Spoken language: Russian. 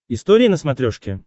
история на смотрешке